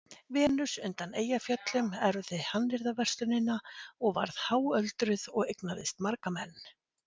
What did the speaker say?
Venus undan Eyjafjöllum erfði hannyrðaverslunina og varð háöldruð og eignaðist marga menn.